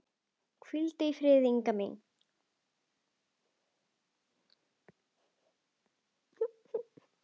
Hvíldu í friði, Inga mín.